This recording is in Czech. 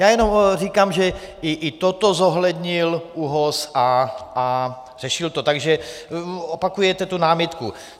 Já jenom říkám, že i toto zohlednil ÚOHS a řešil to, takže opakujete tu námitku.